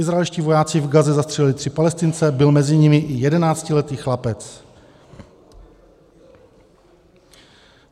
Izraelští vojáci v Gaze zastřelili tři Palestince, byl mezi nimi i jedenáctiletý chlapec.